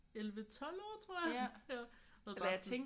11 12 år tror jeg. Ja eller bare sådan